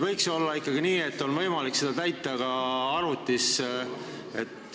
Võiks ju olla ikkagi nii, et oleks võimalik seda täita ka arvutis.